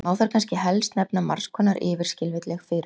Má þar kannski helst nefna margs konar yfirskilvitleg fyrirbæri.